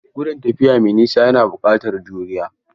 Gudun tafiya mai nisa yana buƙatar juriya.